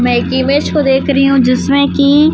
मैं एक इमेज को देख रही हूं जिसमें की--